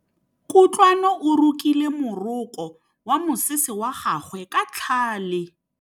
Kutlwanô o rokile morokô wa mosese wa gagwe ka tlhale.